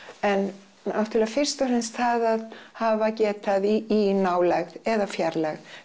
en náttúrlega fyrst og fremst það að hafa getað í nálægð eða fjarlægð